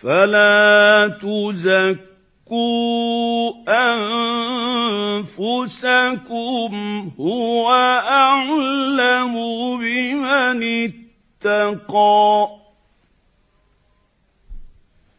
فَلَا تُزَكُّوا أَنفُسَكُمْ ۖ هُوَ أَعْلَمُ بِمَنِ اتَّقَىٰ